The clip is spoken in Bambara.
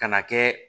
Ka na kɛ